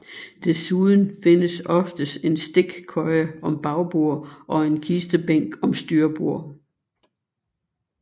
Desuden findes oftest en stikkøje om bagbord og en kistebænk om styrbord